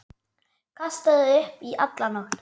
Kastaði upp í alla nótt.